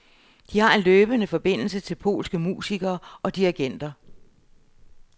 De har en løbende forbindelse til polske musikere og dirigenter.